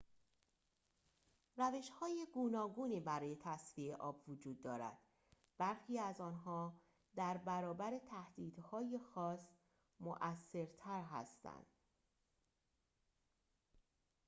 روش‌های گوناگونی برای تصفیه آب وجود دارد برخی از آنها در برابر تهدیدهای خاص مؤثرتر هستند